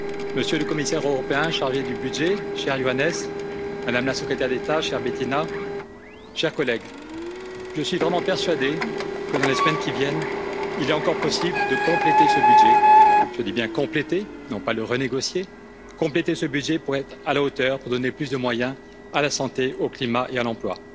Monsieur le Commissaire européen chargé du budget, cher Johannes, Madame la Secrétaire d'État, chère Bettina, chers collègues, je suis vraiment persuadé que, dans les semaines qui viennent, il est encore possible de compléter ce budget je dis bien compléter, non pas le renégocier, compléter ce budget pour être à la hauteur, pour donner plus de moyens à la santé, au climat et à l'emploi.